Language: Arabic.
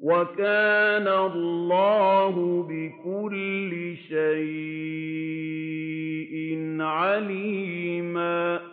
وَكَانَ اللَّهُ بِكُلِّ شَيْءٍ عَلِيمًا